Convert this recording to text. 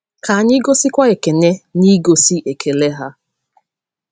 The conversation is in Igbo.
Ka anyị gosikwa Ekene n’igosi ekele ha.